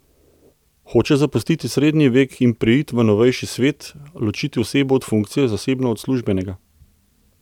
Hoče zapustiti srednji vek in preiti v novejši svet, ločiti osebo od funkcije, zasebno od službenega.